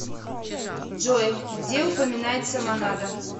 джой где упоминается монада